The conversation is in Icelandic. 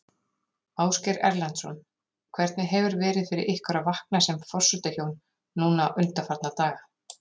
Ásgeir Erlendsson: Hvernig hefur verið fyrir ykkur að vakna sem forsetahjón núna undanfarna daga?